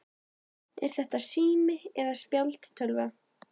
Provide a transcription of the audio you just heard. Er þetta sími eða spjaldtölva?